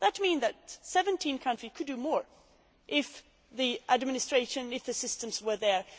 That means that 17 countries could do more if the administration and systems were there.